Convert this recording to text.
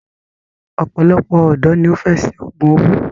òpòlopò òdò ní o fè ṣe ògún owó.